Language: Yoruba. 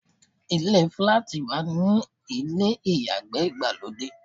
Ilé fíláàtì máa ń ní ilé ìyàgbẹ́ ìgbàlódé.